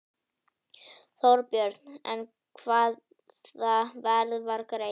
Þorbjörn: En hvaða verð var greitt?